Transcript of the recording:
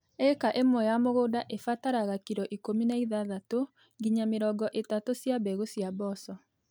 Ĩka imwe ya mũgũnda ibataraga kiro ikũmbi na ithathatũ nginya mĩrongo ĩtatũ cia mbegũ cia mboco.